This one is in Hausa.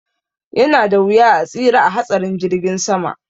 Yanada wuya a tsira a hatsarin jirgin sama